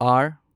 R